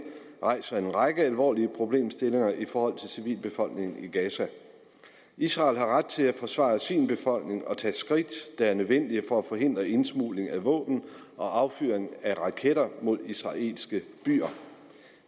rejser en række alvorlige problemstillinger i forhold til civilbefolkningen i gaza israel har ret til at forsvare sin befolkning og tage skridt der er nødvendige for at forhindre indsmugling af våben og affyring af raketter mod israelske byer